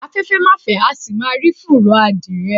Afẹ́fẹ́ ma fẹ́, a sì má rí fùrọ̀ adìyẹ.